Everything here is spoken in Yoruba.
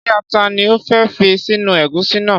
Ṣé ata ni o fẹ́ fi sínú ẹ̀gúsí náà?